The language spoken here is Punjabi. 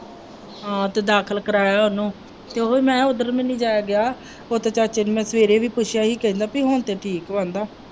ਹਾਂ ਤੇ ਦਾਖਲ ਕਰਾਇਆ ਉਹਨੂੰ ਅਤੇ ਉਹੀ ਮੈਂ ਕਿਹਾ ਉੱਧਰ ਵੀ ਨਹੀਂ ਜਾਇਆ ਗਿਆ, ਉੱਧਰ ਚਾਚੇ ਨੂੰ ਮੈਂ ਸਵੇਰੇ ਵੀ ਪੁੱਛਿਆ ਸੀ ਕਹਿੰਦਾ ਬਈ ਹੁਣ ਤੇ ਠੀਕ ਵਾ